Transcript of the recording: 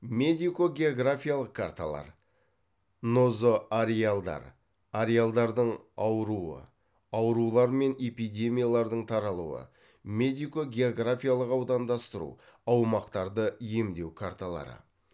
медико географиялық карталар нозоареалдар аурулар мен эпидемиялардың таралуы медико географиялық аудандастыру аумақтарды емдеу карталары